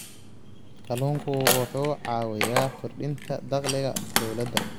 Kalluunku wuxuu caawiyaa kordhinta dakhliga dawladda.